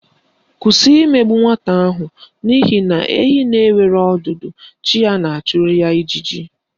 Kwụsị imegbu nwata ahụ n'ihi na ehi na-enweghị ọdụ chi ya na-achụrụ ya ijiji